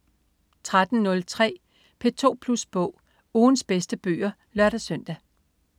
13.03 P2 Plus Bog. Ugens bedste bøger (lør-søn)